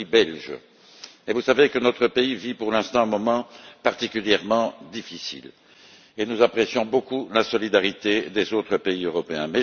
Je suis belge et vous savez que notre pays vit pour l'instant un moment particulièrement difficile et nous apprécions beaucoup la solidarité des autres pays européens.